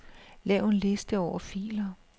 Lav en liste over filer.